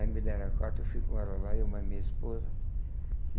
Aí me deram a carta, eu fui com ela lá, eu mais minha esposa.